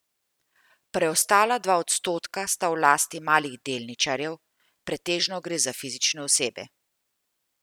Preostala dva odstotka sta v lasti malih delničarjev, pretežno gre za fizične osebe.